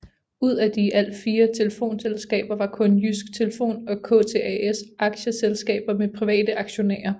Ud af de i alt fire telefonselskaber var kun Jydsk Telefon og KTAS aktieselskaber med private aktionærer